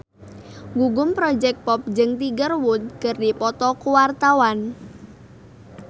Gugum Project Pop jeung Tiger Wood keur dipoto ku wartawan